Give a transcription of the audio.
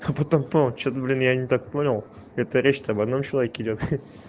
а потом что-то блин я не так понял это речь не об одном человеке идёт